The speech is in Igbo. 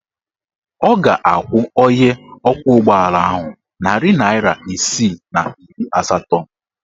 Ọ ga-akwụ onye ọkwọụgbọala ahụ narị naịra isii na iri asatọ.